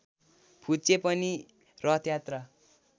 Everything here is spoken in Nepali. फुच्चे पनि रथयात्रा